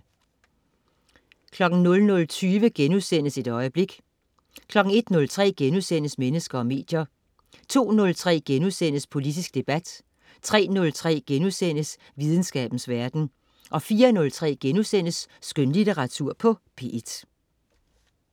00.20 Et øjeblik* 01.03 Mennesker og medier* 02.03 Politisk debat* 03.03 Videnskabens verden* 04.03 Skønlitteratur på P1*